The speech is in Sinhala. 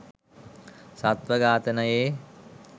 සත්ව ඝාතනයේ